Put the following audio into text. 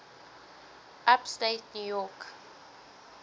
upstate new york